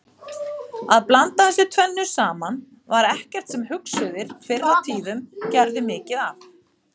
Að blanda þessu tvennu saman var ekkert sem hugsuðir fyrr á tíðum gerðu mikið af.